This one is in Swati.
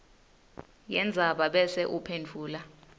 yendzaba bese uphendvula